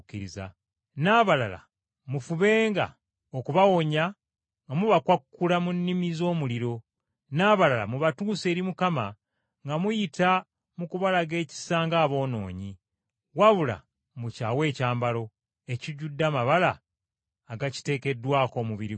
n’abalala mufubenga okubawonya nga mubakwakkula mu nnimi z’omuliro, n’abalala mubatuuse eri Mukama nga muyita mu kubalaga ekisa ng’aboonoonyi, wabula mukyawe ekyambalo, ekijjudde amabala agakiteekeddwako omubiri gwabwe.